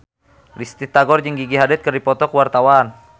Risty Tagor jeung Gigi Hadid keur dipoto ku wartawan